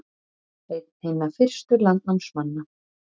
Einn hinna fyrstu landnámsmanna